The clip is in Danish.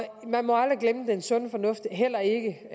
man må aldrig glemme den sunde fornuft heller ikke